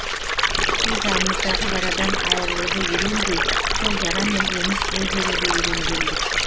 біз жанымыздағы жарадан айырылуды үйренбей сол жарамен өмір сүре беруді үйренгенбіз